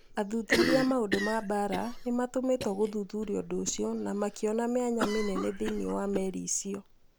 Athuthuria a maũndũ ma mbaara nĩ maatũmitwo gũthuthuria ũndũ ũcio na makĩona mĩanya mĩnene thĩinĩ wa meri icio.